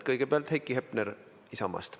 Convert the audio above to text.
Kõigepealt Heiki Hepner Isamaast.